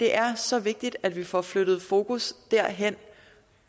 er så vigtigt at vi får flyttet fokus derhen